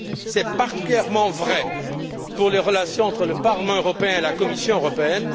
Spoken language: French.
C'est particulièrement vrai pour les relations entre le Parlement européen et la Commission européenne.